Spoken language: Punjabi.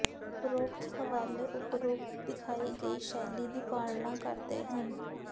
ਉਪਰੋਕਤ ਹਵਾਲੇ ਉਪਰੋਕਤ ਦਿਖਾਈ ਗਈ ਸ਼ੈਲੀ ਦੀ ਪਾਲਣਾ ਕਰਦੇ ਹਨ